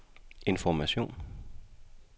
information